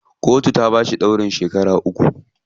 Kotu ta bashi ɗaurin shekara uku.